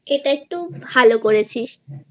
এটা একটু ভালো করেছিস।